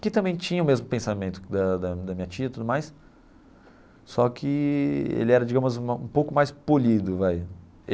que também tinha o mesmo pensamento da da da minha tia e tudo mais, só que ele era, digamos, um pouco mais polido vai.